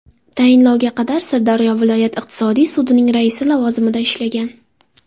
Tayinlovga qadar Sirdaryo viloyat iqtisodiy sudining raisi lavozimida ishlagan.